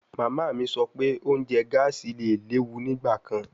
Mama mi sọ pe ounjẹ gaasi le lewu nigbakan